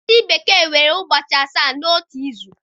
Ndị bekee nwere ụbọchị asaa n'otu izu.